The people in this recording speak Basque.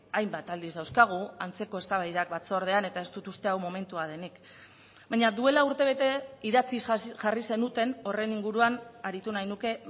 hainbat aldiz dauzkagu antzeko eztabaidak batzordean eta ez dut uste hau momentua denik baina duela urtebete idatziz jarri zenuten horren inguruan aritu nahi nuke